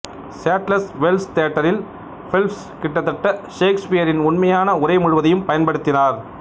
settlers Wells தியேட்டரில் Phelps கிட்டத்தட்ட ஷேக்ஸ்பியரின் உண்மையான உரை முழுவதையும் பயன்படுத்தினார்